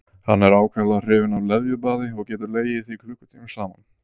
Hann er ákaflega hrifinn af leðjubaði og getur legið í því klukkutímum saman.